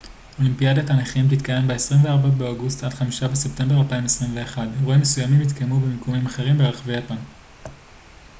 אולימפיאדת הנכים תתקיים ב-24 באוגוסט עד 5 בספטמבר 2021 אירועים מסוימים יתקיימו במיקומים אחרים ברחבי יפן